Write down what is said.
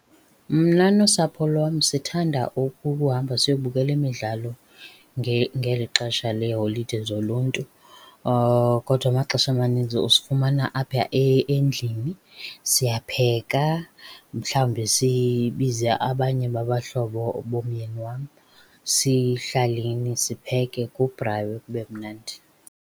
Mna nosapho lwam sithanda ukuhamba siyobukela imidlalo ngeli xesha leeholide zoluntu. Kodwa amaxesha amaninzi usifumana apha endlini. Siyapheka, mhlawumbi sibize abanye babahlobo bomyeni wam sihlaleni sipheke, kubraywe kube mnandi.